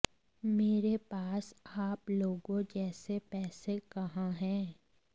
मेरे पास आप लोगों जैसे पैसे कहाँ हैं